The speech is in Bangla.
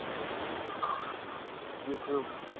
আহ Youtube